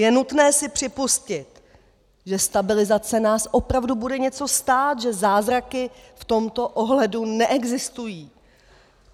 Je nutné si připustit, že stabilizace nás opravdu bude něco stát, že zázraky v tomto ohledu neexistují.